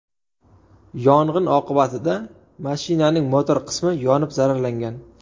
Yong‘in oqibatida mashinaning motor qismi yonib zararlangan.